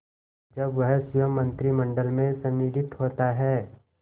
जब वह स्वयं मंत्रिमंडल में सम्मिलित होता है